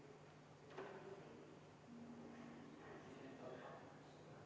Poolt 1, vastu 23, erapooletuid 0.